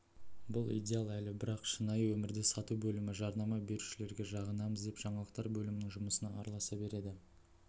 бұл идеал әлі бар бірақ шынайы өмірде сату бөлімі жарнама берушілерге жағынамыз деп жаңалықтар бөлімінің жұмысына араласа береді